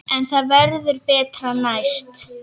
En það verður betra næst.